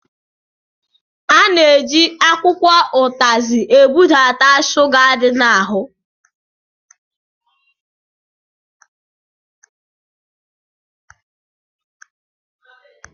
A na-eji akwụkwọ ụtazi ebudata shuga dị n'ahụ.